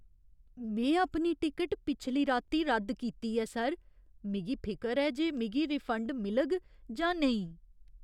में अपनी टिकट पिछली राती रद्द कीती ऐ, सर। मिगी फिकर ऐ जे मिगी रिफंड मिलग जां नेईं।